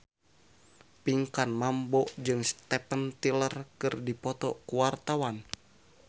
Pinkan Mambo jeung Steven Tyler keur dipoto ku wartawan